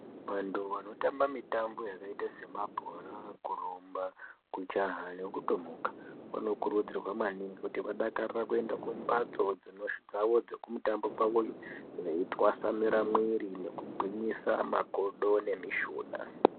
Vantu vanotamba mitambo yakaita semabhora, kurumba, kujaha nekutomuka vanokurudzirwa maningi kuti vadakarire kuenda kumbatso dzavo dzekumutambo veitwasanura mwiri veigwinyisa makodo nemishuna.